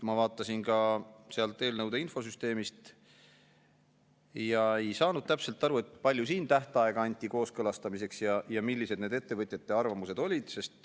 Ma vaatasin ka sealt eelnõude infosüsteemist ja ei saanud täpselt aru, palju aega anti kooskõlastamiseks ja millised need ettevõtjate arvamused olid.